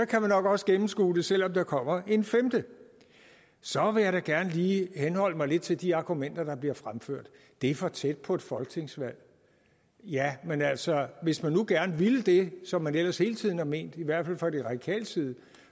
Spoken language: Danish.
kan man nok også gennemskue det selv om der kommer en femte så vil jeg da gerne lige forholde mig lidt til de argumenter der bliver fremført det er for tæt på et folketingsvalg jamen altså hvis man nu gerne ville det som man ellers hele tiden har ment i hvert fald fra de radikales side